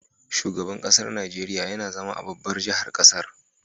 Shugaban ƙasar Nigeria YAna zama a babbar jahar ƙasar